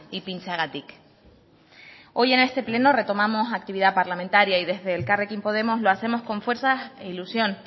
ipintzeagatik hoy en este pleno retomamos actividad parlamentaria y desde elkarrekin podemos lo hacemos con fuerzas e ilusión